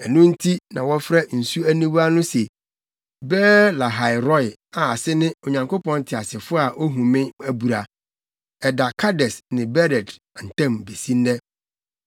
Ɛno nti na wɔfrɛ nsu aniwa no se Beer-Lahai-Roi a ase ne “Onyankopɔn Teasefo a ohu me abura.” Ɛda Kades ne Bered ntam besi nnɛ.